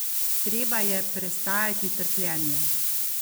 Treba je prestajati trpljenje!